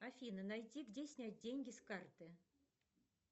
афина найти где снять деньги с карты